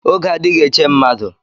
Oge adịghị eche mmadụ